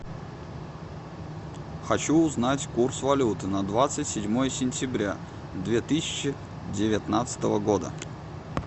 хочу узнать курс валюты на двадцать седьмое сентября две тысячи девятнадцатого года